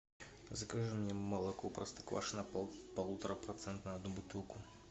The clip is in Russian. закажи мне молоко простоквашино полуторапроцентное одну бутылку